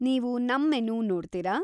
ನೀವು ನಮ್‌ ಮೆನು ನೋಡ್ತೀರಾ?